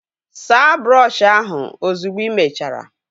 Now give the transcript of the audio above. Saa brọọshi ahụ ozugbo ị mechara!